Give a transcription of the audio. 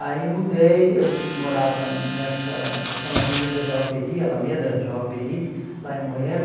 Aí mudei, eu morava nessa, chama Avenida Jaoperi, Alameda Jaoperi, lá em Moema.